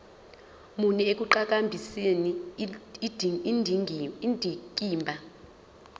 muni ekuqhakambiseni indikimba